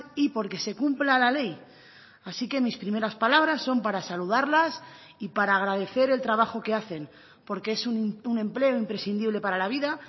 y porque se cumpla la ley así que mis primeras palabras son para saludarlas y para agradecer el trabajo que hacen porque es un empleo imprescindible para la vida